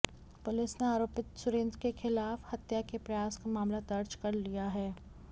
police ने आरोपित सुरेन्द्र के खिलाफ हत्या के प्रयास का मामला दर्ज कर लिया है